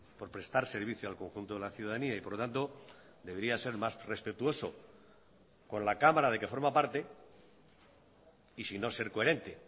por prestar servicio al conjunto de la ciudadanía y por lo tanto debería ser más respetuoso con la cámara de que forma parte y si no ser coherente